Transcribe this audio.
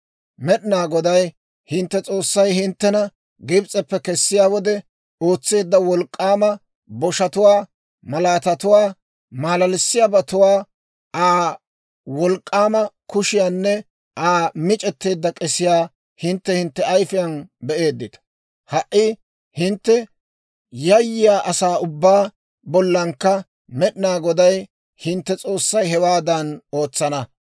Med'inaa Goday hintte S'oossay hinttena Gibs'eppe kessiyaa wode ootseedda wolk'k'aama boshatuwaa, malaatatuwaa, maalalissiyaabatuwaa, Aa wolk'k'aama kushiyaanne Aa mic'etteedda k'esiyaa hintte hintte ayifiyaan be'eeddita. Ha"i hintte yayyiyaa asaa ubbaa bollankka Med'inaa Goday, hintte S'oossay hewaadan ootsana.